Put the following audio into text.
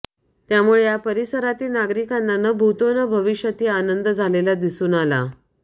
त्यामुळे या परिसरातील नागरिकांना न भूतो न भविष्यती आनंद झालेला दिसून आला